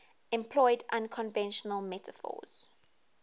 employed unconventional metaphors